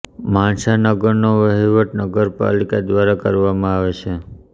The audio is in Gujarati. માણસા નગરનો વહીવટ નગરપાલિકા દ્વારા કરવામાં આવે છે